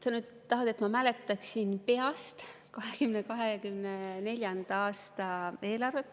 Sa nüüd tahad, et ma mäletaksin peast 2024. aasta eelarvet.